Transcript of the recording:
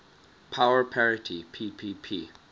power parity ppp